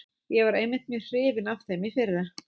Ég var einmitt mjög hrifinn af þeim í fyrra.